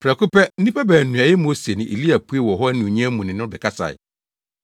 Prɛko pɛ, nnipa baanu a ɛyɛ Mose ne Elia puee wɔ hɔ anuonyam mu ne no bɛkasae.